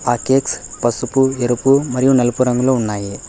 ఆ కేక్స్ పసుపు ఎరుపు మరియు నలుపు రంగులో ఉన్నాయి.